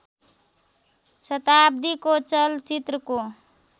शताब्दीको चलचित्रको